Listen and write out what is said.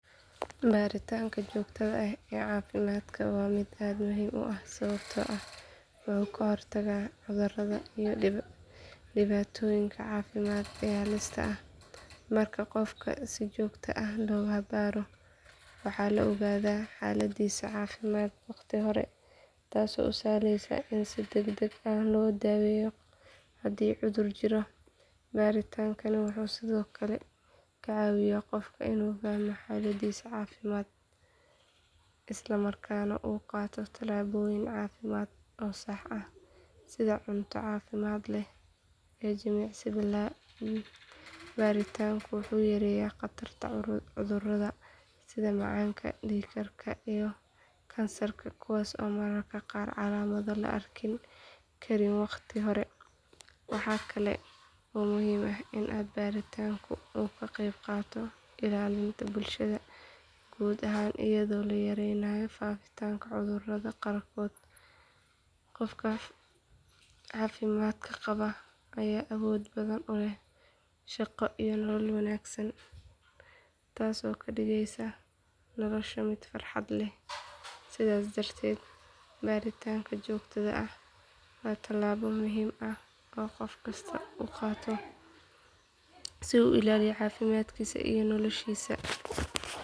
Baaritaanka joogtada ah ee caafimaadka waa mid aad muhiim u ah sababtoo ah wuxuu ka hortagaa cudurrada iyo dhibaatooyinka caafimaad ee halista ah. Marka qofka si joogto ah loo baaro waxaa la ogaadaa xaaladdiisa caafimaad wakhti hore taasoo u sahlaysa in si degdeg ah loo daweeyo haddii cudur jiro. Baaritaankani wuxuu sidoo kale ka caawiyaa qofka inuu fahmo xaaladdiisa caafimaad, isla markaana uu qaato tallaabooyin caafimaad oo sax ah sida cunto caafimaad leh iyo jimicsi. Baaritaanku wuxuu yareeyaa khatarta cudurrada sida macaanka, dhiig karka iyo kansarka kuwaas oo mararka qaar calaamado la arki karin wakhti hore. Waxaa kaloo muhiim ah in baaritaanku uu ka qayb qaato ilaalinta bulshada guud ahaan iyadoo la yareynayo faafitaanka cudurrada qaarkood. Qofka caafimaadka qaba ayaa awood badan u leh shaqo iyo nolol wanaagsan, taasoo ka dhigaysa nolosha mid farxad leh. Sidaas darteed baaritaanka joogtada ah waa tallaabo muhiim ah oo qof kasta uu qaato si uu u ilaaliyo caafimaadkiisa iyo noloshiisa.